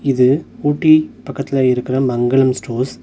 இது ஊட்டி பக்கத்துல இருக்குற மங்களம் ஸ்டார்ஸ்.